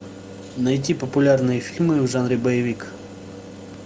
найти популярные фильмы в жанре боевик